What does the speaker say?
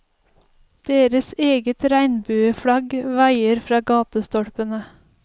Deres eget regnbueflagg vaier fra gatestolpene.